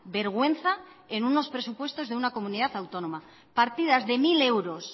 vergüenza en unos presupuestos de una comunidad autónoma partidas de mil euros